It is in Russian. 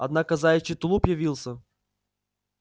однако заячий тулуп явился